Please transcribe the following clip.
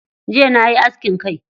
Jiya nayi askin kai.